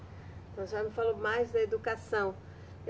Então, a senhora me falou mais da educação.